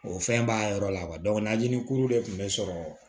O fɛn b'a yɔrɔ la najinikuru de tun bɛ sɔrɔ